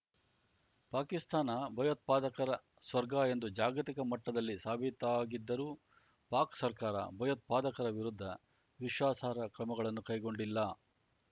ಪಾಕಿಸ್ತಾನ ಭಯೋತ್ಪಾದಕರ ಸ್ವರ್ಗ ಎಂದು ಜಾಗತಿಕ ಮಟ್ಟದಲ್ಲಿ ಸಾಬೀತಾಗಿದ್ದರೂ ಪಾಕ್ ಸರ್ಕಾರ ಭಯೋತ್ಪಾದಕರ ವಿರುದ್ಧ ವಿಶ್ವಾಸಾರ್ಹ ಕ್ರಮಗಳನ್ನು ಕೈಗೊಂಡಿಲ್ಲ